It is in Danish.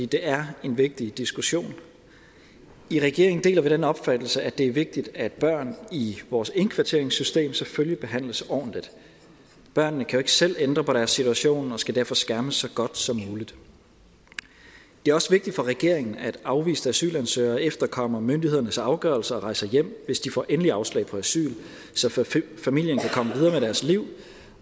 det er en vigtig diskussion i regeringen deler vi den opfattelse at det er vigtigt at børn i vores indkvarteringssystem selvfølgelig skal behandles ordentligt børnene kan jo ikke selv ændre på deres situation og skal derfor skærmes så godt som muligt det er også vigtigt for regeringen at afviste asylansøgere efterkommer myndighedernes afgørelser og rejser hjem hvis de får endeligt afslag på asyl så familien kan komme videre med deres liv